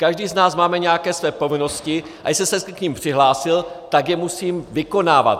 Každý z nás máme nějaké své povinnosti, a jestli jsem se k nim přihlásil, tak je musím vykonávat.